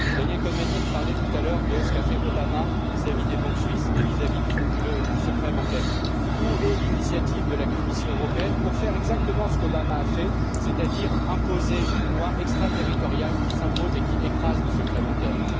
Daniel Cohn Bendit parlait tout à l'heure de ce qu'a fait Obama vis à vis des banques suisses et du secret bancaire. Où est l'initiative de la Commission européenne pour faire exactement ce qu'Obama a fait, c'est à dire imposer une loi extraterritoriale qui s'impose et écrase le secret bancaire?